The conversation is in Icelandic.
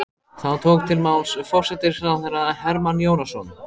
Þá tók til máls forsætisráðherra Hermann Jónasson.